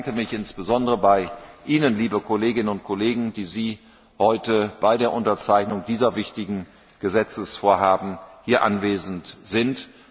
Ich bedanke mich insbesondere bei Ihnen, liebe Kolleginnen und Kollegen, die Sie heute bei der Unterzeichnung dieser wichtigen Gesetzesvorhaben hier anwesend sind.